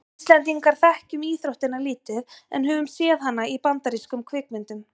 við íslendingar þekkjum íþróttina lítið en höfum séð hana í bandarískum kvikmyndum